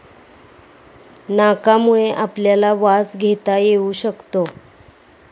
नाकामुळे आपल्याला वास घेता येऊ शकतो.